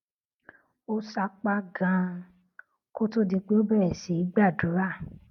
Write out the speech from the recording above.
ó sapá ganan kó tó di pé ó bèrè sí í gbàdúrà